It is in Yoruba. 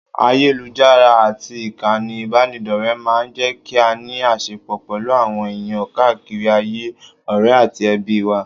Ayélujára àti ìkànnì ìbánidọ́rẹ̀ẹ́ máa ń jẹ́ kí a ní àṣẹpọ̀ pẹ̀lú àwọn èèyàn káàkiri ayé, ọ̀rẹ́ àti ẹbí wa